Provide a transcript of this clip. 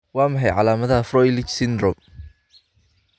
Waa maxay calaamadaha iyo calaamadaha Froelich syndrome?